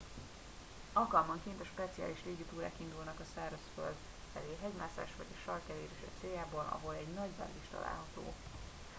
alkalmanként a speciális légi túrák indulnak a szárazföld felé hegymászás vagy a sark elérése céljából ahol egy nagy bázis található